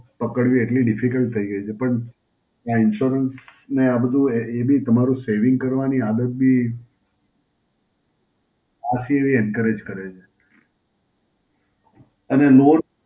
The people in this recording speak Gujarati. પકડવી એટલી Difficult થઈ ગઈ છે પણ, આ Insurance ને આ બધું એ બી તમારું saving કરવાની આદત બી આથી બી encourage કરે છે. અને loan